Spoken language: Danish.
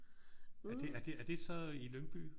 Er det er det er det så i Lyngby?